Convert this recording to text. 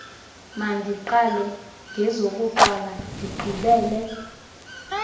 mandiqale ngezokuqala ndigqibele